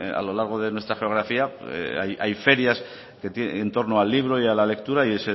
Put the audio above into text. a lo largo de nuestra geografía hay ferias en torno al libro y a la lectura y